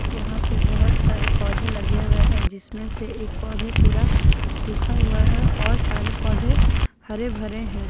यहां पे बहोत सारे पौधे लगे हुए है जिसमें से एक पौधे पूरा सूखा हुआ है और सारे पौधे हरे भरे हैं।